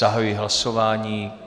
Zahajuji hlasování.